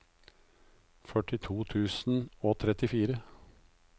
førtito tusen og trettifire